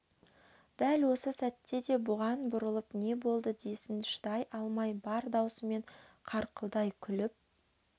дәл осы сәтте де бұған бұрылып не болды десін шыдай алмай бар даусымен қарқылдай күліп